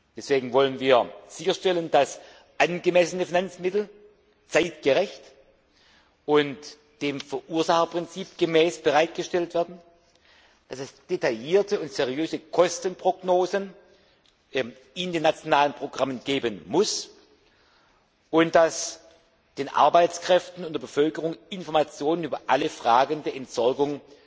Deswegen wollen wir sicherstellen, dass angemessene Finanzmittel zeitgerecht und dem Verursacherprinzip gemäß bereitgestellt werden, dass es detaillierte und seriöse Kostenprognosen in den nationalen Programmen geben muss und dass den Arbeitskräften und der Bevölkerung Informationen über alle Fragen der Entsorgung